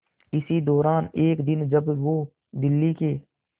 इसी दौरान एक दिन जब वो दिल्ली के